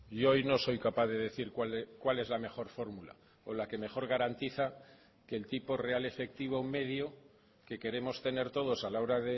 yo hoy no soy capaz de decir cuál es la mejor fórmula o la que mejor garantiza que el tipo real efectivo medio que queremos tener todos a la hora